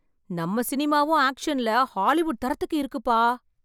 நம்ம சினிமாவும் ஆக்ஷன்ல ஹாலிவுட் தரத்திற்கு இருக்குப்பா!